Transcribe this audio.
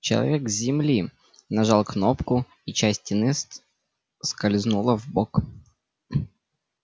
человек с земли нажал кнопку и часть стены скользнула вбок